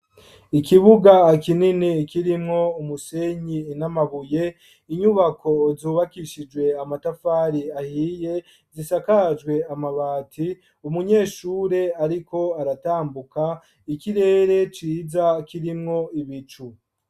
Ikibuga akinini kirimwo umusenyi inamabuye inyubako zubakishijwe amatafari ahiye zisakajwe amabati umunyeshure, ariko aratambuka ikirere ciza kirimwo ibicu.